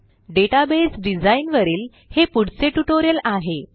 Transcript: database design वरील हे पुढचे ट्युटोरियल आहे